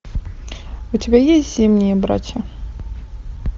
у тебя есть зимние братья